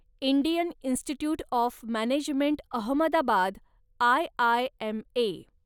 Indian institute of management Ahmedabad, IIMA